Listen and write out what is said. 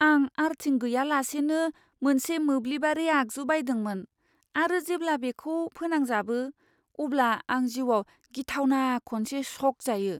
आं आर्थिं गैयालासेनो मोनसे मोब्लिबारि आगजु बायदोंमोन आरो जेब्ला बेखौ फोनांजाबो अब्ला आंजिउआव गिथावना खनसे श'क जायो!